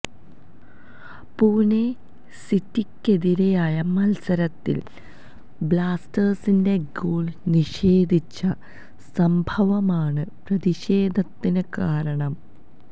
പൂണെ സിറ്റിയ്ക്കെതിരായ മത്സരത്തില് ബ്ലാസ്റ്റേഴ്സിന്റെ ഗോള് നിഷേധിച്ച സംഭവമാണ് പ്രതിഷേധത്തിന് കാരണം